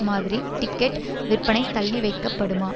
மாதிரி டிக்கெட் விற்பனை தள்ளி வைக்கப்படுமா